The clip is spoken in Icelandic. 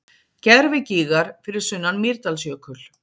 Gervigígar fyrir sunnan Mýrdalsjökul.